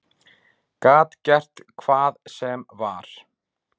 Gat gert hvað sem var.